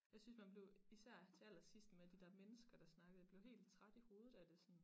Jeg synes man blev især til aller sidst med de der mennesker der snakkede jeg blev helt træt i hovedet af det sådan